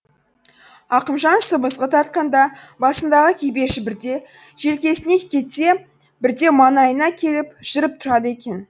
ақымжан сыбызғы тартқанда басындағы кепеші бірде желкесіне кетсе бірде маңайына келіп жүріп тұрады екен